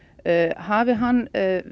hafi hann